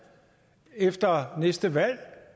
efter næste valg